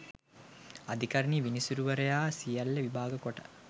අධිකරණ විනිසුරුවරයා සියල්ල විභාග කොට